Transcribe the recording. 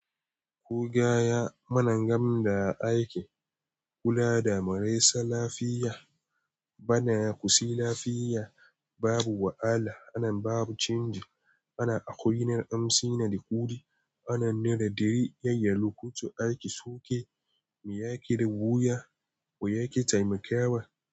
Kugaya mana gam da aiki kula da marasa lafiya bana kusi lafiya babu wahala ana babu canji ana a wurin amsi na da kudi ana nida diri yayyan lokaci ake suke me yake riga wuya ko yake taimakawa.